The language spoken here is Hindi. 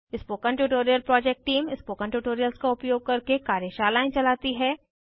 spoken tutorial project team spoken tutorials का उपयोग करके कार्यशालाएं चलाती है